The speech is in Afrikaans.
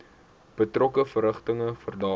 betrokke verrigtinge verdaag